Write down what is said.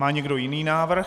Má někdo jiný návrh?